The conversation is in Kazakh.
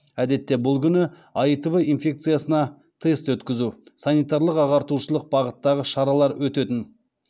әдетте бұл күні аитв инфекциясына тест өткізу санитарлық ағартушылық бағыттағы шаралар өтетін